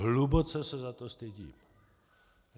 Hluboce se za to stydím.